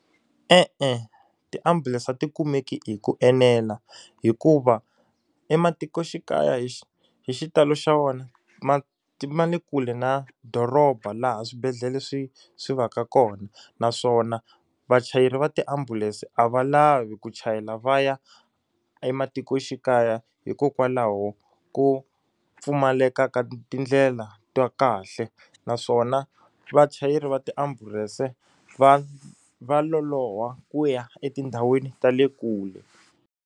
E-e ti-ambulense a ti kumeki hi ku enela hikuva ematikoxikaya hi xitalo xa vona ma ma le kule na doroba laha swibedhlele swi swi va ka kona naswona vachayeri va tiambulense a va lavi ku chayela va ya ematikoxikaya hikokwalaho ko pfumaleka ka tindlela ta kahle naswona vachayeri va tiambulense va va loloha ku ya etindhawini ta le kule.